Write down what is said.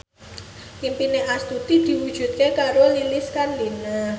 impine Astuti diwujudke karo Lilis Karlina